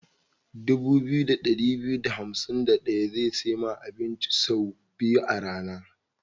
Dubu biyu da ɗari biyu da hansim da ɗaya za su sai ma abinci say biyu a rana.